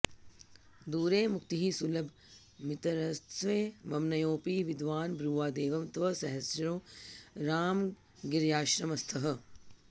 दूरे मुक्तिः सुलभमितरत्सेवमन्योऽपि विद्वान् ब्रूयादेवं तव सहचरो रामगिर्याश्रमस्थः